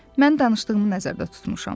Mən danışdığımı nəzərdə tutmuşam.